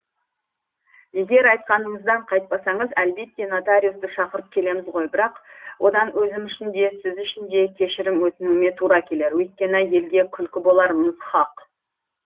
егер айтқаныңыздан қайтпасаңыз әлбетте нотариусты шақырып келеміз ғой бірақ одан өзім үшін де сіз үшін де кешірім өтінуіме тура келер өйткені елге күлкі боларымыз хақ